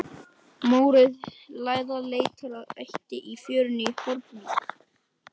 Þær þurftu einnig að kunna berjast með vopnum og blanda eitur.